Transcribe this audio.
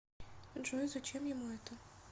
джой зачем ему это